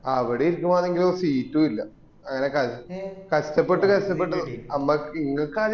അവിടെ ഇരിക്കൂമ്പാനെങ്കില ഒരു seat ഉം ഇല്ല അങ്ങന കഷ്ടപ്പെട്ട കഷ്ടപ്പെട്ട് നമ്മക്ക് ഇങ്ങക്ക